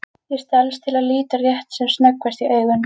Ég stelst til að líta rétt sem snöggvast í augun.